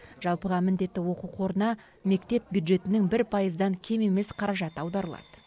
жалпыға міндетті оқу қорына мектеп бюджетінің бір пайыздан кем емес қаражаты аударылады